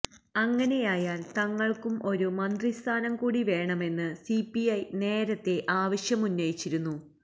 അങ്ങനെയായാല് തങ്ങള്ക്കും ഒരു മന്ത്രിസ്ഥാനം കൂടി വേണമെന്ന് സിപിഐ നേരത്തെ ആവശ്യമുന്നയിച്ചിരുന്നു